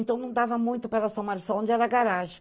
Então não dava muito para ela onde era a garagem.